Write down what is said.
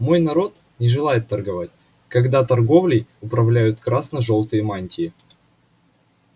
мой народ не желает торговать когда торговлей управляют красно жёлтые мантии